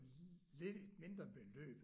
Lidt mindre beløb